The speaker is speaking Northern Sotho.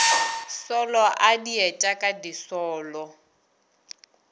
solo a dieta ka disolo